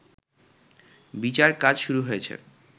বিচার কাজ শুরু হয়েছে